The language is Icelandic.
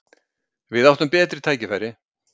Við áttum betri tækifæri.